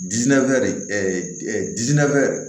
Dinɛ de dinɛ